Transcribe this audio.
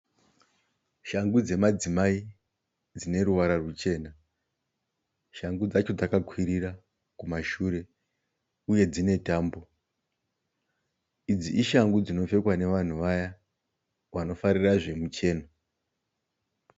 Shangu dzemadzimai dzine ruvara ruchena. Shangu dzacho dzakakwirira kumashure uye dzine tambo. Idzi Ishangu dzinopfekwa nevanhu vaya vanofarira zvemucheno.